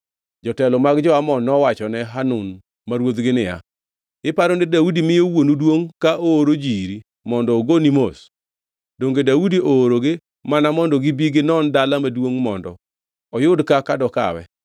jotelo mag jo-Amon nowachone Hanun ma ruodhgi niya, “Iparo ni Daudi miyo wuonu duongʼ ka ooro ji iri mondo ogoni mos? Donge Daudi oorogi mana mondo gibi ginon dala maduongʼ mondo oyud kaka dokawe?”